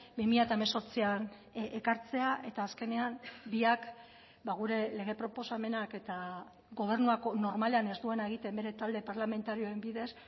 bi mila hemezortzian ekartzea eta azkenean biak gure lege proposamenak eta gobernuak normalean ez duena egiten bere talde parlamentarioen bidez